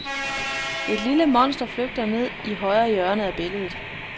Et lille monster flygter nede i højre hjørne af billedet.